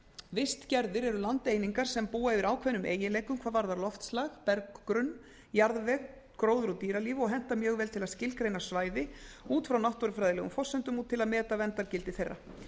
vistgerðir eru landeiningar sem búa yfir ákveðnum eiginleikum hvað varðar loftslag berggrunn jarðveg gróður og dýralíf og henta mjög vel til að skilgreina svæði út frá náttúrufræðilegum forsendum og til að meta verndargildi þeirra